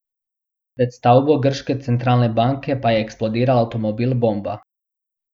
Pred stavbo grške centralne banke pa je eksplodiral avtomobil bomba.